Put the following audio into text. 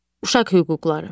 Uşaq hüquqları.